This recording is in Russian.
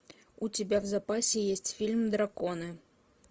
у тебя в запасе есть фильм драконы